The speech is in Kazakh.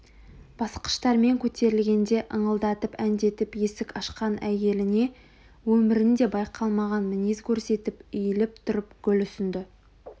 басқыштармен көтерілгенде ыңылдатып әндетіп есік ашқан әйеліне өмірінде байқалмаған мінез көрсетіп иіліп тұрып гүл ұсынды